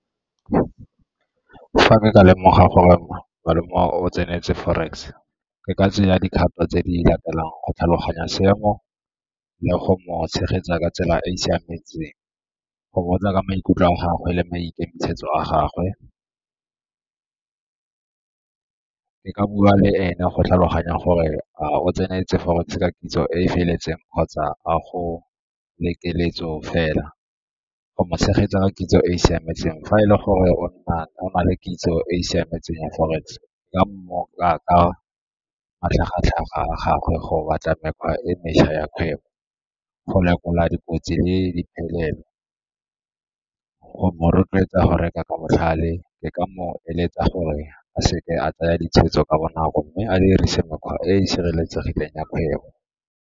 Fa ke ne ka lemoga gore malome o tseneletse forex, ke ka tseya dikgato tse di latelang go tlhaloganya seemo le go mo tshegetsa ka tsela e e siametseng go botsa ka maikutlo a gagwe le maikemisetso a gagwe, ke ka bua le ene go tlhaloganya gore a o tseneletse forex ka kitso e e feletseng kgotsa a go le keletso fela. Go tshegetsa kitso e e siametseng, fa e le gore o na le kitso e e siametseng ya forex ka matlhagatlhaga a gagwe go batla mekgwa e mešwa ya kgwebo, go lekola dikotsi le diphelelo, go mo rotloetsa go reka ka botlhale e ka mo eletsa gore a seke a tsaya ditshwetso ka bonako mme a dirise mekgwa e e sireletsegileng ya kgwebo.